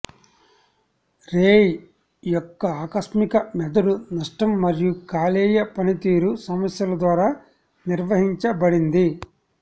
రేయ్ యొక్క ఆకస్మిక మెదడు నష్టం మరియు కాలేయ పనితీరు సమస్యల ద్వారా నిర్వచించబడింది